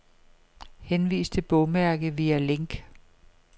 Henvis til bogmærke via link.